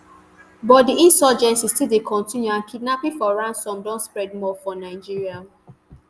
but di insurgency still dey continue and kidnapping for ransom don spread more for nigeria